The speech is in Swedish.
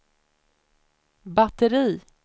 batteri